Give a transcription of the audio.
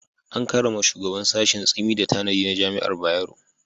An karrama shugaban sashin Tsimi da tanadi na Jami'ar Bayero.